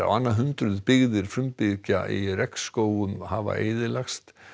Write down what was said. á annað hundruð byggðir frumbyggja í hafa eyðilagst